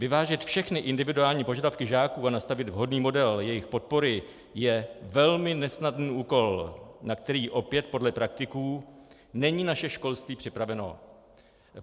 Vyvážit všechny individuální požadavky žáků a nastavit vhodný model jejich podpory je velmi nesnadný úkol, na který opět podle praktiků není naše školství připraveno.